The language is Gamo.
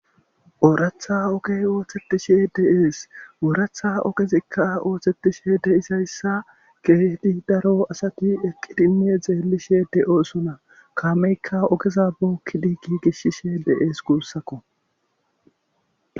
ooratha ogey ooththetishe de'ees ooratha okezikka ooththetishe de isayssa keehdi daro asati eqqidine xeelishe de7oosona kaameykka ogeza bookkidi gigishshishe de7ees guussakko